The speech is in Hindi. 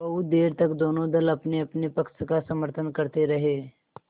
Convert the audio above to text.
बहुत देर तक दोनों दल अपनेअपने पक्ष का समर्थन करते रहे